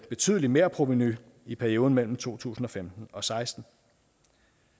betydeligt merprovenu i perioden mellem to tusind og femten og seksten